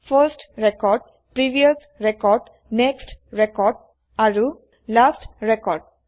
first record previous record next record আৰু last record